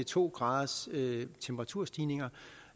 to graders temperaturstigning og